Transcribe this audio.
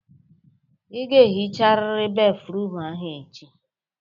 Ị ga-ehicharịrị béfrụm ahụ echi!